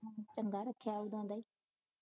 ਚੰਗਾ ਰੱਖਿਆ ਉਦੋ ਆਂਦਾ ਈ